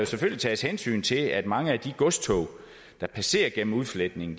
selvfølgelig tages hensyn til at mange af de godstog der passerer igennem udfletningen